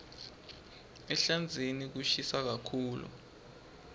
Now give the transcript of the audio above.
ehlandzeni kushisa kakhulu